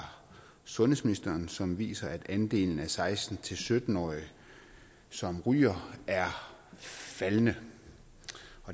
sundhedsministeren som viser at andelen af seksten til sytten årige som ryger er faldende